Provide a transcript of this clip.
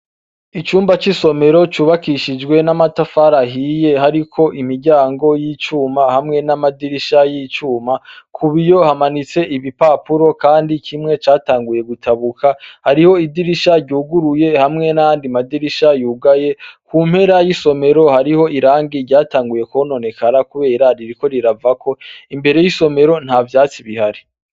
Icumba c'isomero cubakishijwe n'amatafarahiye hariko imiryango y'icuma hamwe n'amadirisha y'icuma ku biyo hamanitse ibipapuro, kandi kimwe catanguye gutabuka hariho idirisha ryuguruye hamwe nandi madirisha yugaye ku mpera y'isomero hariho irangi ryatanguye kono nekara kubeye rariiriko riravako imbere y'isomero nta vyatsi bihari.